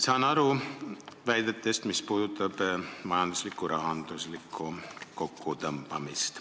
Saan aru väidetest, mis puudutavad majanduslikku, rahanduslikku kokkutõmbamist.